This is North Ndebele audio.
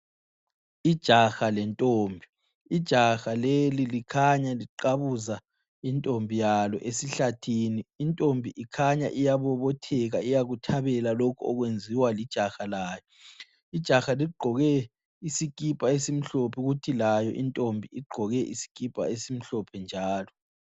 Ijaha lentombi, ijaha leli likhanya liqabuza intombi yalo esihlathini. Intombi ikhanya iyabobotheka iyakuthabela lokhu okwenziwa lijaha layo. Ijaha ligqoke isikipa esimhlophe kuthi layo intombi igqoke isikipa esimhlophe njalo.